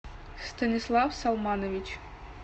станислав салманович